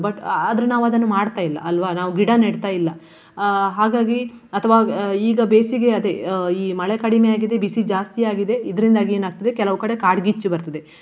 But ಆದ್ರೂ ನಾವು ಅದನ್ನು ಮಾಡ್ತಾ ಇಲ್ಲ ಅಲ್ವಾ. ನಾವು ಗಿಡ ನೆಡ್ತಾ ಇಲ್ಲ. ಅಹ್ ಹಾಗಾಗಿ ಅಥ್ವಾ ಈಗ ಬೇಸಿಗೆ ಅದೇ ಅಹ್ ಈ ಮಳೆ ಕಡಿಮೆಯಾಗಿದೆ ಬಿಸಿ ಜಾಸ್ತಿಯಾಗಿದೆ ಇದ್ರಿಂದಾಗಿ ಏನಾಗ್ತದೆ ಕೆಲವು ಕಡೆ ಕಾಡ್ಗಿಚ್ಚು ಬರ್ತದೆ.